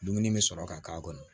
Dumuni bɛ sɔrɔ ka k'a kɔnɔ